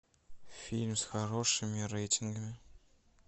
фильм с хорошими рейтингами